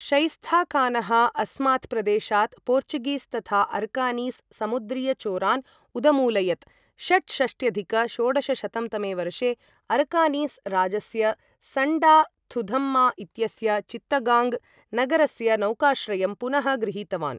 शैस्ताखानः अस्मात् प्रदेशात् पोर्चुगीस् तथा अरकानीस् समुद्रीयचोरान् उदमूलयत्, षट्षष्ट्यधिक षोडशशतं तमे वर्षे अरकानीस् राजस्य सण्डा थुधम्मा इत्यस्य चित्तगाङ्ग् नगरस्य नौकाश्रयं पुनः गृहीतवान्।